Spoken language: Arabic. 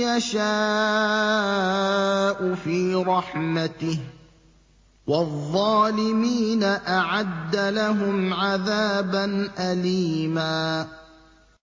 يَشَاءُ فِي رَحْمَتِهِ ۚ وَالظَّالِمِينَ أَعَدَّ لَهُمْ عَذَابًا أَلِيمًا